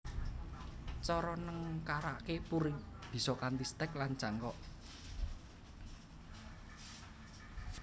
Cara nengkaraké puring bisa kanthi stek lan cangkok